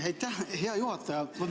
Aitäh, hea juhataja!